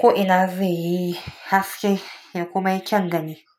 ko ina zai yi haske ya kuma yi kyangani.